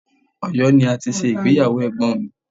Ọ̀yọ́ ni a ti ṣe ìgbéyàwó Ẹ̀gbọ́n mi.